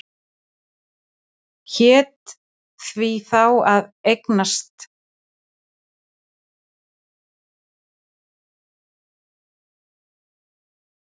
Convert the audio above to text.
Hét því þá að eiga aldrei framar orðaskipti við þennan lækni.